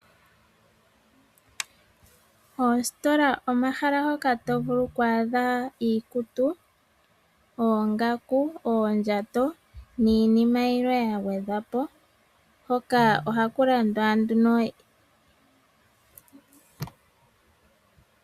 Oositola omahala hoka to vulu okwaadha iikutu oongaku ,oondjato niinima yilwe ya gwedhwa po hoka ohku landwa nduno iinima yilwe.